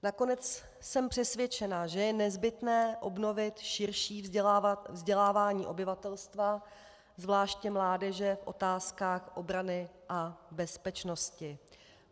Nakonec jsem přesvědčená, že je nezbytné obnovit širší vzdělávání obyvatelstva, zvláště mládeže, v otázkách obrany a bezpečnosti.